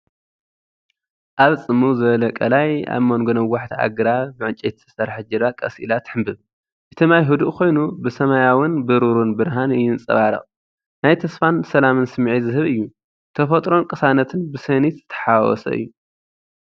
ኣብ ጽምው ዝበለ ቀላይ ኣብ መንጎ ነዋሕቲ ኣግራብ ብዕንጨይቲ እተሰርሐት ጃልባ ቀስ ኢላ ትሕንበብ። እቲ ማይ ህዱእ ኮይኑ፡ ብሰማያውን ብሩርን ብርሃን ይንጸባረቕ። ናይ ተስፋን ሰላምን ስምዒት ዝህብ እዩ። ተፈጥሮን ቅሳነትን ብስኒት ዝተሓዋወሰ እዩ።